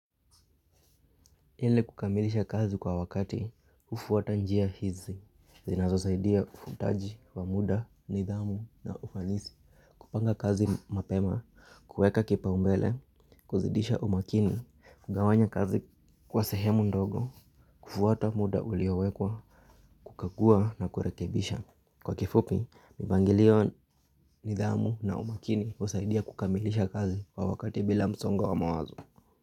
Eli kukamilisha kazi kwa wakati hufwata njia hizi zinazo saidia ufwataji wa muda, nidhamu na ufanisi. Kupanga kazi mapema, kueka kipaumbele, kuzidisha umakini kugawanya kazi kwa sehemu ndogo, kufwata muda uliowekwa, kukagua na kurekebisha. Kwa kifupi, mipangilio nidhamu na umakini husaidia kukamilisha kazi kwa wakati bila msongo wa mawazo.